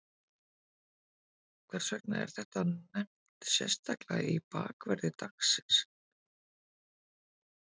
Hvers vegna er þetta nefnt sérstaklega í bakverði dagsins?